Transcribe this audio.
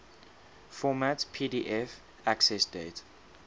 format pdf accessdate